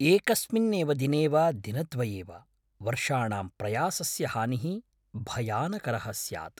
एकस्मिन् एव दिने वा दिनद्वये वा, वर्षाणां प्रयासस्य हानिः भयानकरः स्यात्।